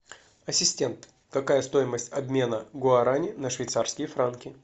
ассистент какая стоимость обмена гуарани на швейцарские франки